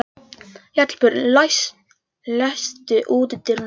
Hallbjörg, læstu útidyrunum.